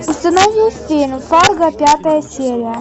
установи фильм фарго пятая серия